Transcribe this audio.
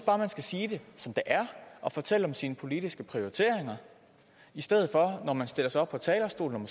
bare man skal sige det som det er og fortælle om sine politiske prioriteringer i stedet for at man stiller sig op på talerstolen